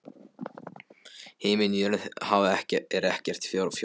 Himinn jörð haf er ekkert fjórða?